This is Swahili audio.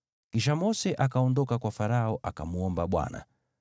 Kisha Mose akaondoka kwa Farao akamwomba Bwana .